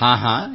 ಹಾಂ ಹಾಂ